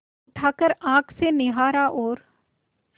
उठाकर आँख से निहारा और